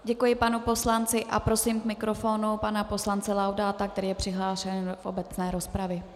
Děkuji panu poslanci a prosím k mikrofonu pana poslance Laudáta, který je přihlášen do obecné rozpravy.